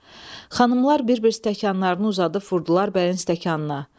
Xanımlar bir-bir stəkanlarını uzadıb vurdular bəyin stəkanına.